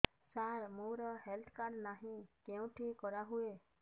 ସାର ମୋର health card ନାହିଁ କେଉଁଠି କରା ହୁଏ